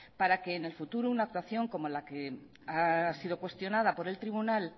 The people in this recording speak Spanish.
para que en el futuro una actuación como la que ha sido cuestionada por el tribunal